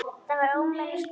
Þetta var ómenni og slóði.